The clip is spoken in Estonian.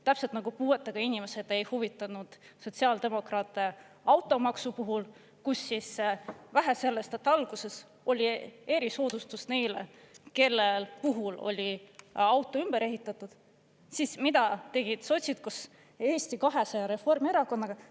Täpselt nagu puuetega inimesed ei huvitanud sotsiaaldemokraate automaksu puhul, kus vähe sellest, et alguses oli erisoodustus neile, kelle puhul oli auto ümber ehitatud, siis mida tegid sotsid koos Eesti 200 Reformierakonnaga?